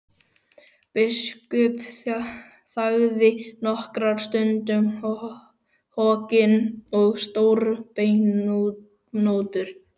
Biskup þagði nokkra stund, hokinn og stórbeinóttur.